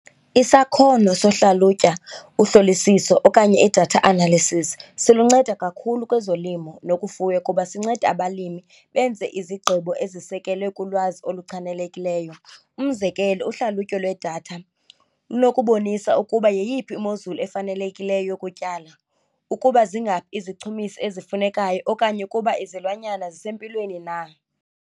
Isakhono sohlalutya uhlolisiso okanye i-data analysis siluncedo kakhulu kwezolimo nokufuya kuba sinceda abalimi benze izigqibo ezisekelwe kulwazi oluchanelekileyo. Umzekelo uhlalutyo lwedatha lunokubonisa ukuba yeyiphi imozulu efanelekileyo yokutyala, ukuba zingafi izichumiso ezifunekayo okanye ukuba izilwanyana zisempilweni na.